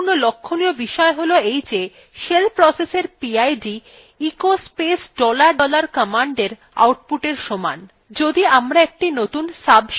একটি গুরুত্বপূর্ণ লক্ষ্যনীয় বিষয় হল shell processএর pid echo space dollar dollar commandএর আউটপুটএর সমান